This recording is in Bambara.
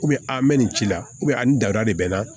mɛ nin ci la a ni dada de bɛ n na